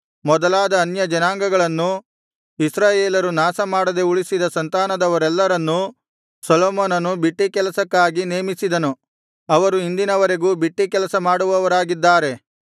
ಮೊದಲಾದ ಅನ್ಯ ಜನಾಂಗಗಳನ್ನು ಇಸ್ರಾಯೇಲ್ಯರು ನಾಶಮಾಡದೆ ಉಳಿಸಿದ ಸಂತಾನದವರೆಲ್ಲರನ್ನೂ ಸೊಲೊಮೋನನು ಬಿಟ್ಟಿ ಕೆಲಸಕ್ಕಾಗಿ ನೇಮಿಸಿದನು ಅವರು ಇಂದಿನವರೆಗೂ ಬಿಟ್ಟಿ ಕೆಲಸ ಮಾಡುವವರಾಗಿದ್ದಾರೆ